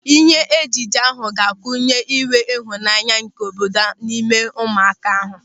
Ịhe ejije ahụ ga-kunye ịnwe ịhụnanya nke obodo n'ime ụmụaka ahụ.